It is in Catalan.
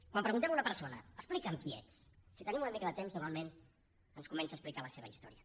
quan preguntem a una persona explica’m qui ets si tenim una mica de temps normalment ens comença a explicar la seva història